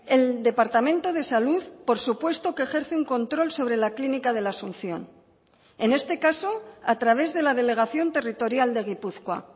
el departamento de salud por supuesto que ejerce un control sobre la clínica de la asunción en este caso a través de la delegación territorial de gipuzkoa